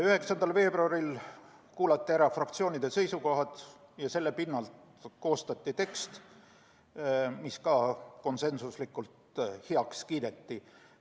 9. veebruaril kuulati ära fraktsioonide seisukohad ja selle põhjal koostati tekst, mis ka konsensuslikult heaks kiideti.